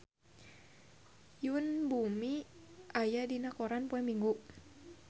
Yoon Bomi aya dina koran poe Minggon